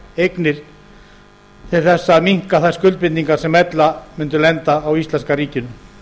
eignir til að minnka þær skuldbindingar sem ella mundu lenda á íslenska ríkinu